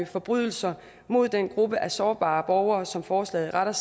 forbrydelser mod den gruppe af sårbare borgere som forslaget er rettet